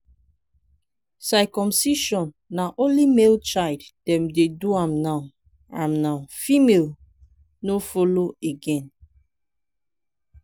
circumcision na only male child dem dey do am now am now female no follow again.